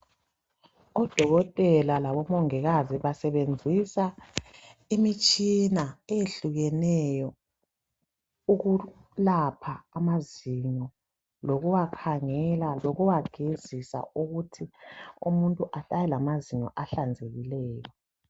Udokotela labomongikazi basebenzisa imitshina eyehlukeneyo. Ukwelapha amazinyo lokuwakhangela lokuwagezisa ukuthi umuntu ahlale olamazinyo ahlanzekileyo